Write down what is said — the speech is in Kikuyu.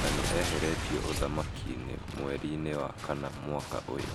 na nĩ eheretio ũthamaki-inĩ mweri-inĩ wa kana mwaka ũyũ.